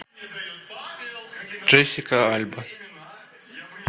джессика альба